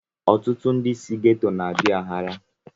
Ọtụtụ ndị si gétò na-adi aghara